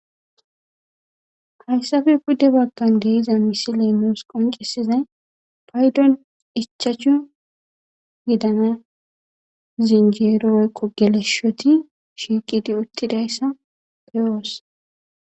hayssafe pudde bagan de'iza misiley nus qoncisizay paydon ichachu gidana zinjeerooy woyikko geleshoti shiiqidi uttidayssa beyoos